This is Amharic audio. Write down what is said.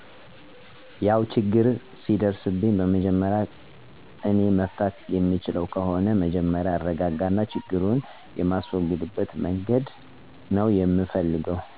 ያው ችግር ሲደርስብኝ በመጀመሪያ እኔ መፍታት የምችለው ከሆነ መጀመሪያ እረጋጋና ችግሩን የማስወግድበት መንገድ ነው ምፈልገው። ለምሳሌ ጊቢ ላይ እንቅልፍ ያስቸግረኝ ነበር። ያው ቆይቼ እየለመድሁት መጣሁ እንጅ። እና እንቅልፌ ሲያስቸግረኝ በቀዝቃዛ ውሀ እታጠብ ነበረ። ማልችለው ነገር ከሆነ ችግሩን ለጓደኞቼ ነው እምናገር። በተለይ በገንዘብ ጉዳይ ሲቸግረኝ ከቤተሰቦቼ ይልቅ ለጓደኞቼ ነው ምናገረው። ምክንያቱም ቶሎ ሚደርሱልኝ እነርሱ ነበሩ።